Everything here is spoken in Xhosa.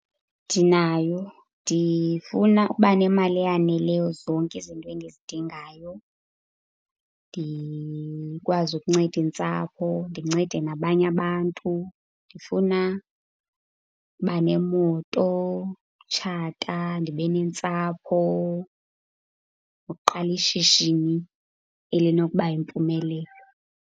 Ndinayo. Ndifuna ukuba nemali eyaneleyo zonke izinto endizidingayo. Ndikwazi ukunceda intsapho, ndincede nabanye abantu. Ndifuna ukuba nemoto, utshata, ndibe nentsapho, nokuqala ishishini elinokuba yimpumelelo.